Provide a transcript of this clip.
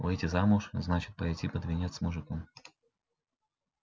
выйти замуж значит пойти под венец с мужиком